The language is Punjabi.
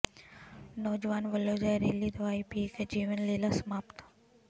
ਨੌਜਵਾਨ ਵਲੋਂ ਜ਼ਹਿਰੀਲੀ ਦਵਾਈ ਪੀ ਕੇ ਜੀਵਨ ਲੀਲ੍ਹਾ ਸਮਾਪਤ